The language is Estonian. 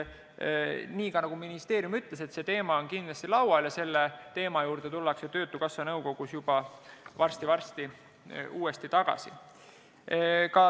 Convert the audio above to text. Ka ministeerium ütles, see teema on kindlasti laual ja selle juurde tullakse Töötukasssa nõukogus juba varsti-varsti uuesti tagasi.